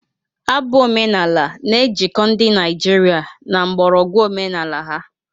Abụ ọdịnala na-ejikọ ndị Naijiria na mgbọrọgwụ omenala ha.